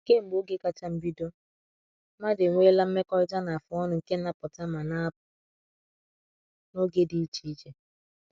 Kemgbe oge kacha mbido, mmadụ enweela mmekọrịta na-afụ ọnụ nke na-apụta ma na-apụ n’oge dị iche iche.